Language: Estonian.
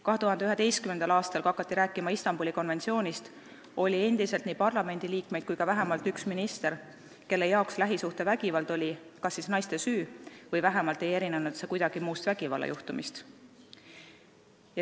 2011. aastal, kui hakati rääkima Istanbuli konventsioonist, oli endiselt nii parlamendiliikmeid kui ka vähemalt üks minister, kelle arvates lähisuhtevägivald oli kas naiste süü või vähemalt ei erinenud need juhtumid kuidagi muudest vägivallajuhtumitest.